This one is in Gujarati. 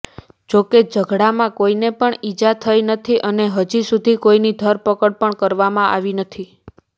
જોકે ઝઘડામાં કોઈને ઈજા થઈ નથી અને હજી સુધી કોઈની ધરપકડ પણ કરવામાં આવી નથી